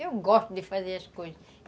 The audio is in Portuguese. Eu gosto de fazer as coisas.